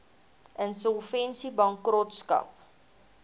insolvensiebankrotskap